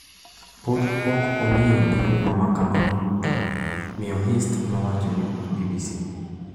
“Pod ok ong’iyo gi huma ma kamano duto,” Miyo Hirst nowacho ne BBC.